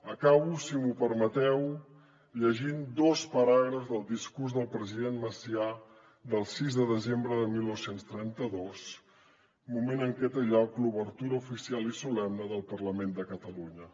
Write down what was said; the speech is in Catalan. acabo si m’ho permeteu llegint dos paràgrafs del discurs del president macià del sis de desembre de dinou trenta dos moment en què té lloc l’obertura oficial i solemne del parlament de catalunya